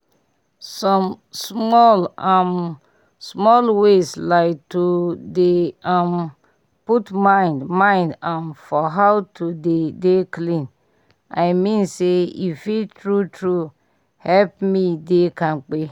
some small um small ways like to dey um put mind mind um for how to dey dey clean i mean say e fit true true help me dey kampe